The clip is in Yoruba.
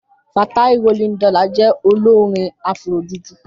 Fatai Rolling Dollars je olorin Afrojuju.